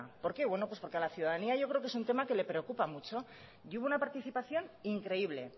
por qué bueno pues porque a la ciudadanía yo creo que es un tema que le preocupa mucho y hubo una participación increíble